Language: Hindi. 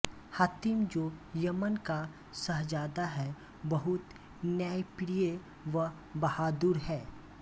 हातिम जो यमन का शहजादा है बहुत न्यायप्रिय व बहादुर है